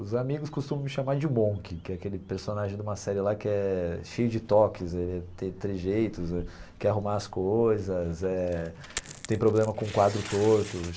Os amigos costumam me chamar de Monk, que é aquele personagem de uma série lá que é cheio de tocs, ele é tem trejeitos, quer arrumar as coisas, eh tem problema com o quadro torto.